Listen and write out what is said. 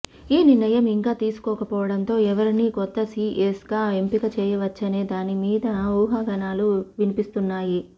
ఈ నిర్ణయం ఇంకా తీసుకోక పోవడంతో ఎవరిని కొత్త సీఎస్ గా ఎంపిక చేయచ్చనే దాని మీద ఊహాగానాలు వినిపిస్తున్నాయి